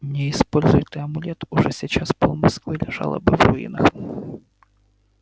не используй ты амулет уже сейчас пол-москвы лежало бы в руинах